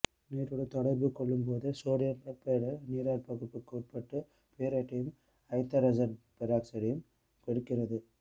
நீருடன் தொடர்பு கொள்ளும்போது sodium perborate நீராற்பகுப்புக்கு உட்பட்டு போரேட்டையும் ஐதரசன் பெராக்சைடையும் கொடுக்கிறது